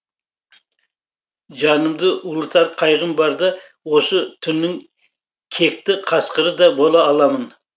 жанымды ұлытар қайғым барда осы түннің кекті қасқыры да бола аламын